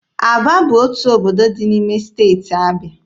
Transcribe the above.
Aba bụ otu obodo dị n'ime Steeti Abịa.